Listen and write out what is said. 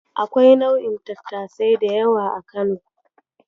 Akwai nau'in tattasai da yawa a Kano.